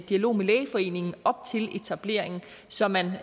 dialog med lægeforeningen op til etableringen så man